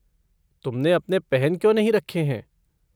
तुमने अपने पहन क्यों नहीं रखे हैं?